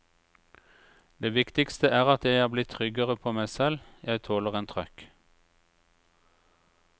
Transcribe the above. Det viktigste er at jeg er blitt tryggere på meg selv, jeg tåler en trøkk.